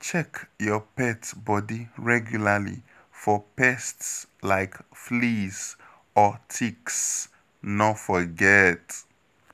Check your pet body regularly for pests like fleas or ticks, no forget.